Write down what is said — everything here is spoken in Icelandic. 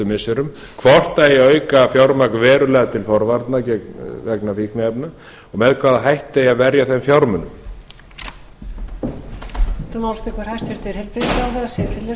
missirum hvort eigi að auka fjármagn verulega til forvarna vegna fíkniefna og með hvaða hætti eigi að verja þeim fjármunum